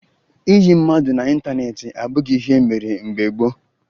Ịyị mmadụ n'ịntaneetị abụghị ihe e mere mgbe gboo